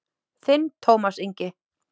Þinn Tómas Ingi.